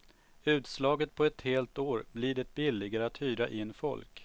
Utslaget på ett helt år blir det billigare att hyra in folk.